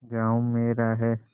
गॉँव मेरा है